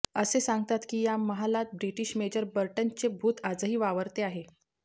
असे सांगतात की या महालात ब्रिटीश मेजर बर्टनचे भूत आजही वावरते आहे